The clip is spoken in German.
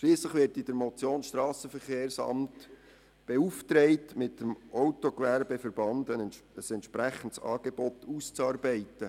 Schliesslich wird in der Motion das SVSA beauftragt, mit dem Autogewerbeverband (AGVS) ein entsprechendes Angebot auszuarbeiten.